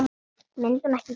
Myndi hún ekki gera það?